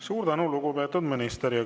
Suur tänu, lugupeetud minister!